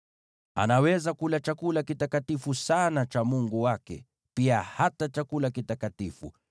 Anaweza kula chakula kitakatifu sana cha Mungu wake, pia hata chakula kitakatifu.